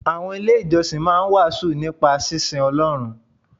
Àwọn ilé ìjọsìn máa ń wàásù nípa sínsin Ọlọ́run.